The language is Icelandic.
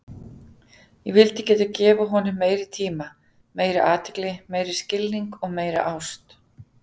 Ég vildi geta gefið honum meiri tíma, meiri athygli, meiri skilning og meiri ást.